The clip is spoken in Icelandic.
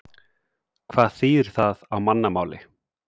Hvað þýðir það á mannamáli?